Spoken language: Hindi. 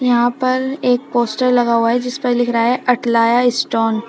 यहां पर एक पोस्टर लगा हुआ है जिस पर लिख रहा है अटलाया स्टोन ।